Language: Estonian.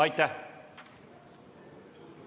Aitäh!